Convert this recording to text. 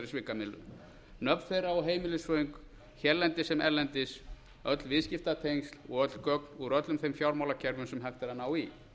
svikamyllu nöfn þeirra og heimilisföng hérlendis sem erlendis öll viðskiptatengsl og öll gögn úr öllum þeim fjármálakerfum sem hægt er að ná í